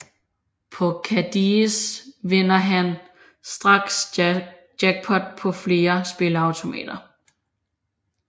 På Kadies vinder han straks jackpot på flere spilleautomater